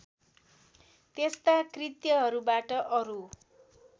त्यस्ता कृत्यहरूबाट अरू